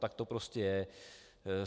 Tak to prostě je.